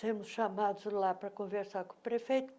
sermos chamados lá para conversar com o prefeito.